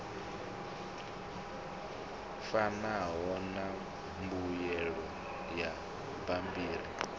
fanaho na mbuyelo ya bammbiri